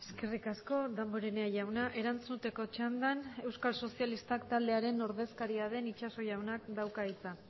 eskerrik asko damborenea jauna erantzuteko txandan euskal sozialistak taldearen ordezkaria den itxaso jaunak dauka hitza